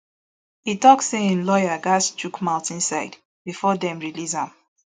e tok say im lawyer gatz chook mouth inside bifor dem release am